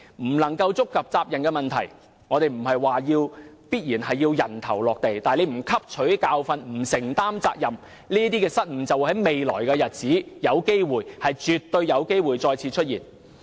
我不是說有人必須"人頭落地"，但若有關人士不汲取教訓、不承擔責任，這種失誤在未來的日子絕對有機會再次出現。